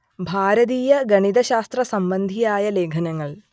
ഭാരതീയ ഗണിത ശാസ്ത്ര സംബന്ധിയായ ലേഖനങ്ങൾ